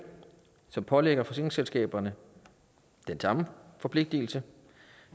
som pålægger forsikringsselskaberne den samme forpligtelse